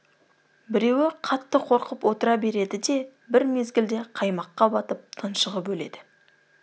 біреуі қатты қорқып отыра береді де бір мезгілде қаймаққа батып тұншығып өледі